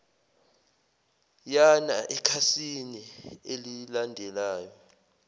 yana ekhasini elilandelayo